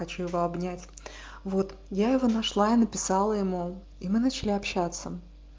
хочу его обнять вот я его нашла и написала ему и мы начали общаться